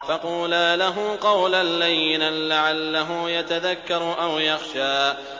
فَقُولَا لَهُ قَوْلًا لَّيِّنًا لَّعَلَّهُ يَتَذَكَّرُ أَوْ يَخْشَىٰ